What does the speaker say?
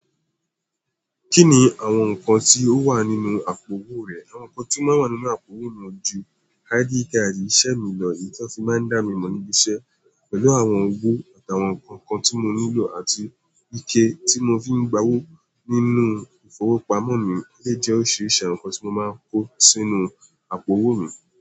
Kí ni àwọn nǹkan tí ó wà nínú àpò owó rẹ̀? Àwọn nǹkan tí ó máa ń wà nínú àpò owó mi ju ID card, iṣẹ́ mi lọ, èyí ti won fi máa ń dá mi mọ̀ níbi iṣẹ́ pẹ̀lú àwọn owó àti àwọn nǹkan tí mo nílò àti ike tí mo fi ń gba owó nínú ìfowópamọ́ mi lè jẹ́ órisirisi àwọn nǹkan tí mo máa ń kó sínú àpò owó mi.